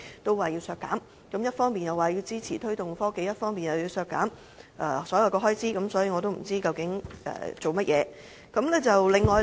他們一方面說支持推動創新科技，另一方面又削減所有預算開支，我也不知道他們所為何事。